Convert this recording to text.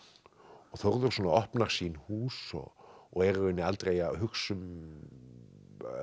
og Þórður svona opnar sín hús og og er í rauninni aldrei að hugsa um